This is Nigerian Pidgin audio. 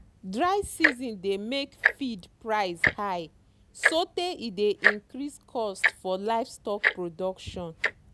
dry season dey make feed price high sotey e dey increase cost for livestock production.